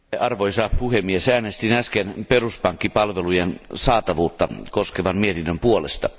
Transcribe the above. Arvoisa puhemies, äänestin äsken peruspankkipalvelujen saatavuutta koskevan mietinnön puolesta.